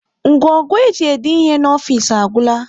Ngwo ngwo e ji ede ihe n'ofisi agwụla